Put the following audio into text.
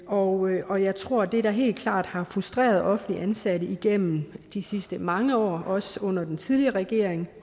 og og jeg tror at det der helt klart har frustreret offentligt ansatte igennem de sidste mange år også under den tidligere regering